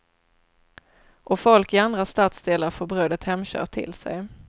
Och folk i andra stadsdelar får brödet hemkört till sig.